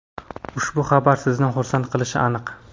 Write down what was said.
ushbu xabar sizni xursand qilishi aniq.